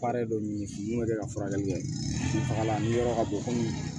dɔ ɲini mun bɛ kɛ ka furakɛli kɛ faga la ni yɔrɔ ka bon komi